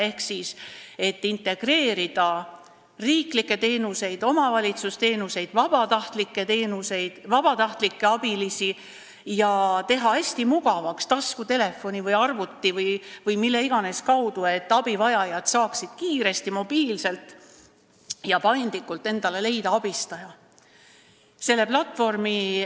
Eesmärk oli integreerida riiklikke, omavalitsuste ja vabatahtlike abiliste pakutavaid teenuseid ja teha hästi mugavaks see, et taskutelefoni, arvuti või mille iganes kaudu saaksid abivajajad kiiresti, mobiilselt ja paindlikult abistaja leida.